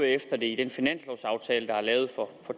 efter det i den finanslovaftale der er lavet for